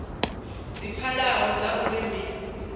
dzi pfalaho dza uri ndi